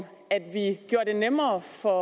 at vi gjorde det nemmere for